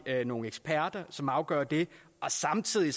er der nogle eksperter som afgør det samtidig